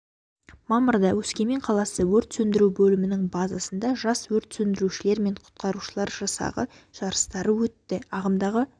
мамырда өскемен қаласы өрт сөндіру бөлімінің базасында жас өрт сөндірушілер мен құтқарушылар жасағы жарыстары өтті ағымдағы